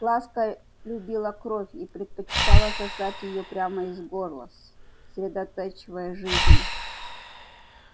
ласка любила кровь и предпочитала сосать её прямо из горла средоточия жизни